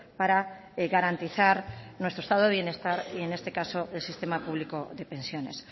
para garantizar nuestra estado de bienestar y en este caso el sistema público de pensiones